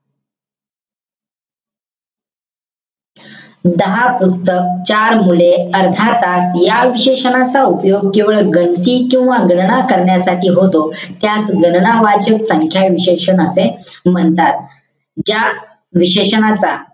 दहा पुस्तक. चार मुले, अर्धा तास. या विशेषणाचा उपयोग गणती किंवा गणना करण्यासाठी होतो. त्यास गणना वाचक संख्या विशेषण असे म्हणतात. ज्या विशेषणाचा,